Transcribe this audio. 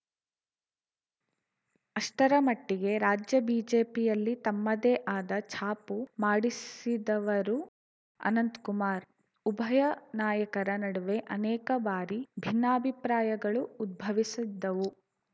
ಅಷ್ಟರಮಟ್ಟಿಗೆ ರಾಜ್ಯ ಬಿಜೆಪಿಯಲ್ಲಿ ತಮ್ಮದೇ ಆದ ಛಾಪು ಮಾಡಿಸಿದವರು ಅನಂತ್ ಕುಮಾರ್‌ ಉಭಯ ನಾಯಕರ ನಡುವೆ ಅನೇಕ ಬಾರಿ ಭಿನ್ನಾಭಿಪ್ರಾಯಗಳು ಉದ್ಭವಿಸಿದ್ದವು